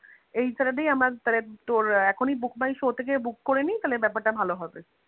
এই saturday আমরা তাহলে ~ এখনি book my show থেকে book করে নি তাহলে ব্যাপারটা ভালো হবে